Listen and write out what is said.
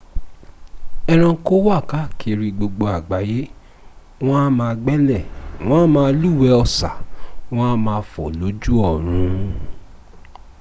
eranko wà káàkiri gbogbo àgbáyé wọn a ma gbẹ́lẹ̀ wọ́n a má lúwẹ̀ẹ́ ọ̀sà wọ́n a ma fò lójú ọ̀run